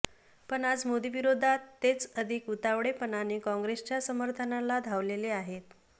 पण आज मोदीविरोधात तेच अधिक उतावळेपणाने काँग्रेसच्या समर्थनाला धावलेले आहेत